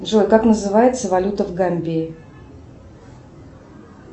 джой как называется валюта в гамбии